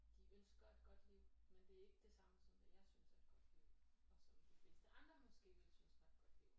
De ønsker et godt liv men det er ikke det samme som hvad jeg synes er et godt liv og som de fleste andre måske ville synes var et godt liv